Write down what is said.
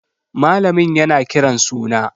Malamin yana kiran suna.